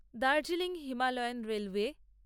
Darjeeling Himalayan railway